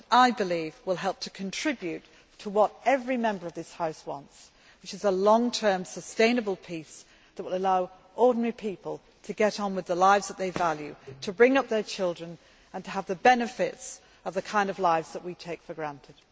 I believe this will contribute to what every Member of this House wants, which is a long term sustainable peace that will allow ordinary people to get on with the lives that they value, to bring up their children, and to have the benefits of the kind of lives that we take for granted.